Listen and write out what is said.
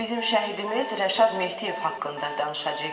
Bizim şəhidimiz Rəşad Mehdiyev haqqında danışacağıq indi.